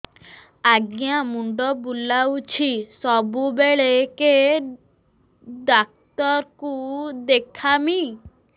ଆଜ୍ଞା ମୁଣ୍ଡ ବୁଲାଉଛି ସବୁବେଳେ କେ ଡାକ୍ତର କୁ ଦେଖାମି